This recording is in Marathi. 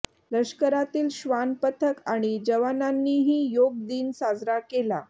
लष्करातील श्वान पथक आणि जवानांनीही योग दिन साजरा केला